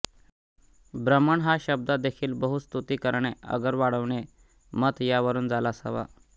ब्रह्मन् हा शब्द देखील बृह् स्तुति करणें अगर वाढविणें मत् यावरून झाला असावा